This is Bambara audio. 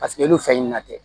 Paseke olu fɛn ɲina tɛ